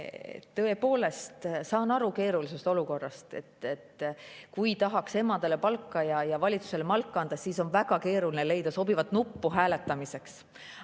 Tõepoolest, saan aru keerulisest olukorrast: kui tahaks emadele palka ja valitsusele malka anda, siis on väga keeruline leida sobivat nuppu hääletamiseks.